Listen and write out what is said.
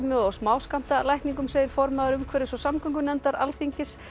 og smáskammtalækningum segir formaður umhverfis og samgöngunefndar Alþingis